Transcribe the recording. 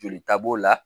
Jolita b'o la